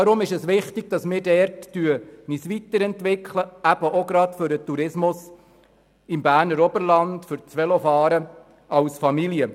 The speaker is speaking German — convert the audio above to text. Deshalb ist es wichtig, dass wir uns dort weiterentwickeln, gerade auch für den Tourismus im Berner Oberland und für das Velofahren als Familie.